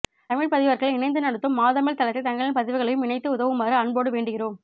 தமிழ் பதிவர்கள் இணைந்து நடத்தும் மாதமிழ் தளத்தில் தங்களின் பதிவுகளையும் இணைத்து உதவுமாறு அன்போடு வேண்டுகிறோம்